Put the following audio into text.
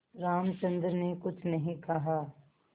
रामचंद्र ने कुछ नहीं कहा